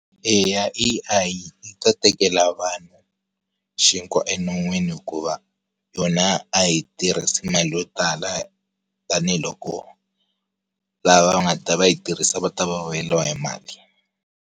Eya A_I, yi ta tekela vanhu, xinkwa eminon'wini hikuva, yona a yi tirhisi mali yo tala, tanihiloko, lava va nga ta va yi tirhisa va ta va va vuyeriwa hi mali.